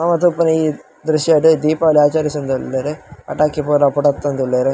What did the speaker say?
ನಮ ತೂಪಿನ ಈ ದ್ರಶ್ಯಡ್ ದೀಪಾವಳಿ ಆಚರಿಸೊಂದುಲ್ಲೆರ್ ಪಟಾಕಿ ಪೂರ ಪುಡತೊಂದುಲ್ಲೆರ್.